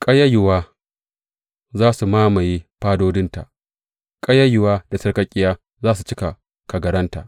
Ƙayayuwa za su mamaye fadodinta ƙayayyuwa da sarƙaƙƙiya za su cika kagaranta.